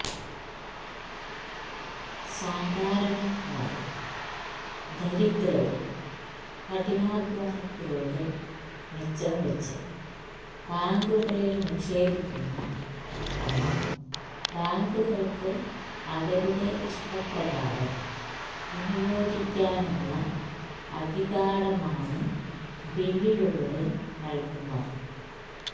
സാധാരണക്കാരും ദരിദ്രരും കഠിനാധ്വാനത്തിലൂടെ മിച്ചംവെച്ച് ബാങ്കുകളിൽ നിക്ഷേപിക്കുന്ന പണം ബാങ്കുകൾക്ക് അവരുടെ ഇഷ്ടപ്രകാരം വിനിയോഗിക്കാനുള്ള അധികാരമാണ് ബില്ലിലൂടെ നൽകുന്നത്